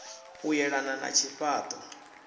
u yelana na tshifha ṱo